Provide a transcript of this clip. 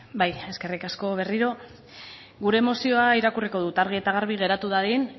bai eskerrik asko berriro gure mozioa irakurriko dut argi eta garbi geratu dadin